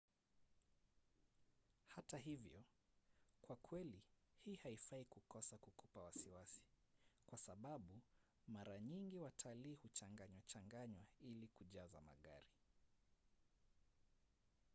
hata hivyo kwa kweli hii haifai kukosa kukupa wasiwasi kwa sababu mara nyingi watalii huchanganywachanganywa ili kuyajaza magari